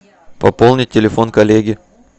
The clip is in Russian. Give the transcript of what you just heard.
пополнить телефон коллеги